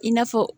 I n'a fɔ